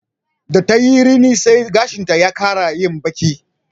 Da ta yi rini sai gashinta ya ƙara yin baƙi